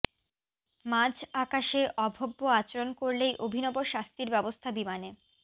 মাঝ আকাশে অভব্য আচরণ করলেই অভিনব শাস্তির ব্যবস্থা বিমানে